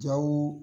Jaw